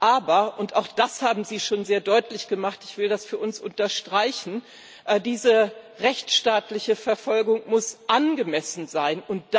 Aber und auch das haben Sie schon sehr deutlich gemacht, ich will das für uns unterstreichen diese rechtsstaatliche Verfolgung muss angemessen sein.